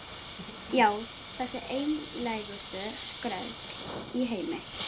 Já, þessi einlægustu skröll í heimi.